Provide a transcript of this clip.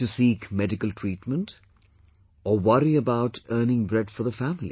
to seek medical treatment or worry about earning bread for the family